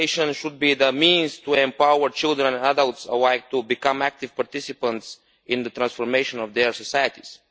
Education should be the means to empower children and adults alike to become active participants in the transformation of their societies.